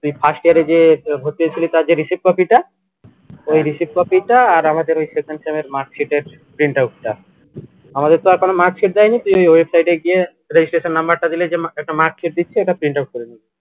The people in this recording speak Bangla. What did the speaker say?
তুই first year এ যে ভর্তি হয়েছিলো তার যে receipt copy টা ওই receipt copy টা আর আমাদের ওই second marksheet এর print out টা আমাদের তো আর কোনো marksheet দেয়নি তুই ওই website গিয়ে registration number টা দিলে যে একটা marksheet দিচ্ছে এটা prinout করে নিবি